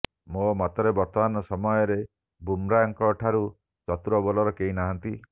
ମୋ ମତରେ ବର୍ତ୍ତମାନ ସମୟରେ ବୁମ୍ରାଙ୍କଠାରୁ ଚତୁର ବୋଲର କେହି ନାହାନ୍ତି